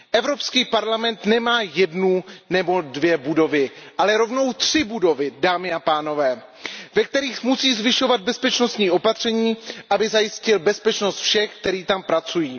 EP nemá jednu nebo dvě budovy, ale rovnou tři budovy, dámy a pánové, ve kterých musí zvyšovat bezpečnostní opatření, aby zajistil bezpečnost všech, kteří tam pracují.